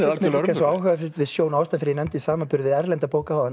svo áhugavert við Sjón og ástæðan fyrir nefndi í samanburði við erlenda bók áðan